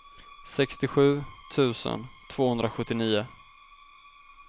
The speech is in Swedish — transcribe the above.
sextiosju tusen tvåhundrasjuttionio